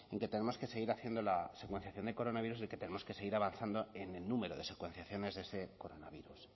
que tenemos que seguir haciendo la secuenciación de coronavirus y que tenemos que seguir avanzando en el número de secuenciaciones de ese coronavirus